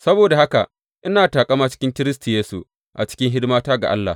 Saboda haka ina taƙama cikin Kiristi Yesu a cikin hidimata ga Allah.